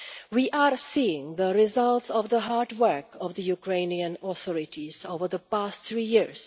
We are seeing the results of the hard work of the Ukrainian authorities over the past three years.